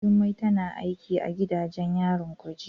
Jummai tana aiki a gidajen yarin kuje.